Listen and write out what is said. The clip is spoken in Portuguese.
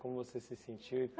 Como você se sentiu?